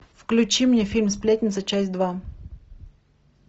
включи мне фильм сплетница часть два